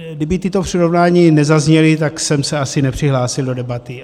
Kdyby tato přirovnání nezazněla, tak jsem se asi nepřihlásil do debaty.